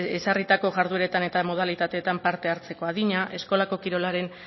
ezarritako jardueretan eta modalitateetan parte hartzeko adina eskolako kirolaren